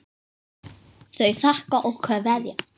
Þau þakka og kveðja.